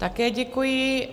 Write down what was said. Také děkuji.